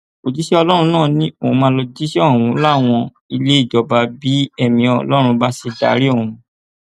òjíṣẹ ọlọrun náà ni òun máa lọọ jíṣẹ ọhún láwọn ilé ìjọba bí ẹmí ọlọrun bá ṣe darí òun